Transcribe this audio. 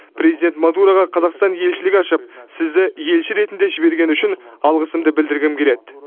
президент модураға қазақстан елшілік ашып сізді елші ретінде жібергені үшін алғысымды білдіргім келеді